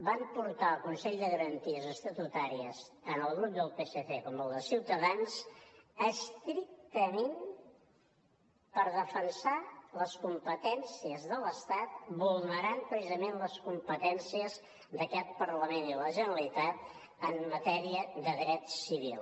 van portar al consell de garanties estatutàries tant el grup del psc com el de ciutadans estrictament per defensar les competències de l’estat vulnerant precisament les competències d’aquest parlament i de la generalitat en matèria de de dret civil